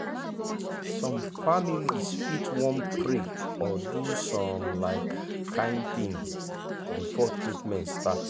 some families fit wan pray or do some um kin thing before treatment start.